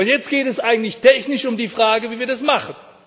Jetzt geht es eigentlich technisch um die Frage, wie wir das machen.